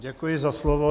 Děkuji za slovo.